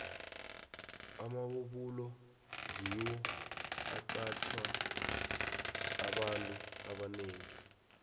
amabubulo ngiwo aqatjha abantu abanengi